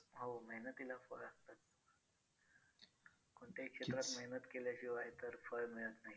आणि skin साठी कोणता साबण माझ्यासाठी कारण माझी त्वच्या जरा कोरडी आहे ना ग